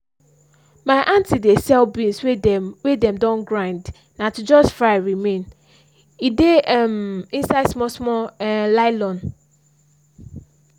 my aunty dey sell beans wey dem wey dem don grind na to just fry remain. e dey um inside small small um nylon